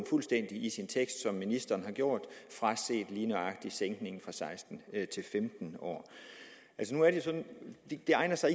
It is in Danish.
fuldstændig i sin tekst som ministeren har gjort fraset lige nøjagtig sænkningen fra seksten til femten år det egner sig